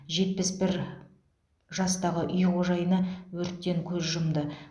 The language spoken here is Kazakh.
жетпіс бір жастағы үй қожайыны өрттен көз жұмды